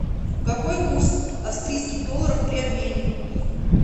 какой курс австрийских долларов при обмене